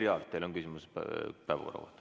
Merry Aart, teil on küsimus päevakorra kohta.